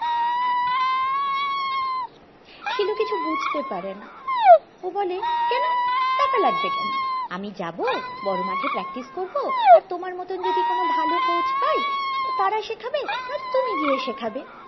শিলু কিছু বুঝতে পারেনা ও বলে কেন টাকা লাগবে কেন আমি যাবো বড়ো মাঠে practice করবো আর তোমার মতন যদি ভালো কোচ পাই তারা শেখাবে নয়তো তুমি গিয়ে শেখাবে